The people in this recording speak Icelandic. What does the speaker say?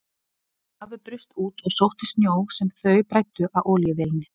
Afi braust út og sótti snjó sem þau bræddu á olíuvélinni.